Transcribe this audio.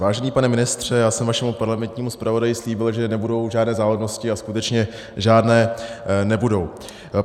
Vážený pane ministře, já jsem vašemu parlamentnímu zpravodaji slíbil, že nebudou žádné záludnosti, a skutečně žádné nebudou.